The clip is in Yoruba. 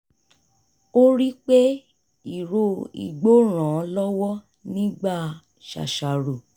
ó rí pé ìró igbó ràn án lọ́wọ́ nígbà ṣàṣàrò